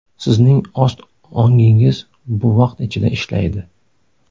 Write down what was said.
Sizning ost ongingiz bu vaqt ichida ishlaydi.